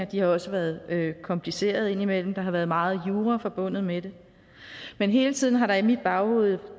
de har også været komplicerede indimellem der har været meget jura forbundet med det men hele tiden har der i mit baghoved